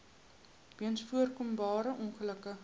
weens voorkombare ongelukke